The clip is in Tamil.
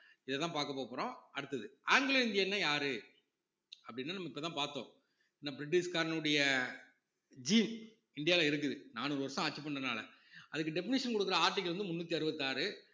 இதத்தான் பார்க்க போகப்போறோம் அடுத்தது ஆங்கிலோ இந்தியன்னா யாரு அப்படின்னா நம்ம இப்பதான் பார்த்தோம் ஏன்னா பிரிட்டிஷ்காரனுடைய இந்தியாவுல இருக்குது நானூறு வருஷம் ஆட்சி பண்றதுனால அதுக்கு definition குடுக்குற article வந்து முன்னூத்தி அறுபத்தி ஆறு